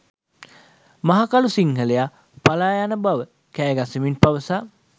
මහකළු සිංහලයා පලායන බව කෑගසමින් පවසා